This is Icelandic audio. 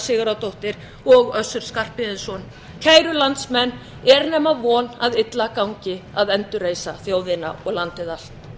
sigurðardóttir og össur skarphéðinsson kæru landsmenn er nema von að illa gangi að endurreisa þjóðina og landið allt